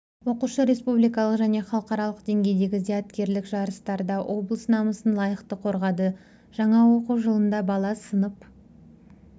оқушы республикалық және халықаралық деңгейдегі зияткерлік жарыстарда облыс намысын лайықты қорғады жаңа оқу жылында бала сынып